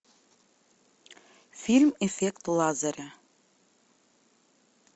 фильм эффект лазаря